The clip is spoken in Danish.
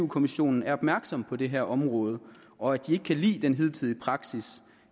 kommissionen er opmærksom på det her område og at de ikke kan lide den hidtidige praksis